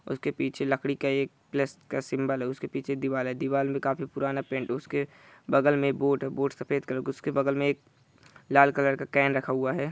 उसके पीछे लकड़ी का एक प्लश का सिम्बल है उसके पीछे दीवाल है दीवाल मे काफी पुराना पैंट है उसके बगल मे बोर्ड है बोर्ड सफेद कलर उसके बगल मे एक लाल कलर का एक केन रखा हुआ है ।